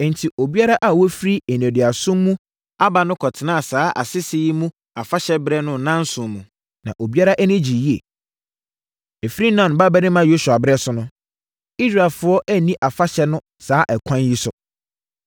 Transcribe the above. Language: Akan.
Enti, obiara a wafiri nneduasom mu aba no kɔtenaa saa asese yi mu afahyɛberɛ no nnanson mu, na obiara ani gyee yie. Ɛfiri Nun babarima Yosua berɛ so no, Israelfoɔ anni afahyɛ no saa ɛkwan yi so.